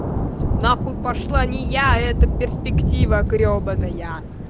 нахуй пошла не я эта перспектива гребаная